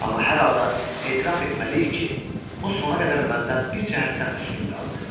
Amma hər halda etiraf etməliyik ki, o sona qədər məndən bir cəhətdən üstün qaldı.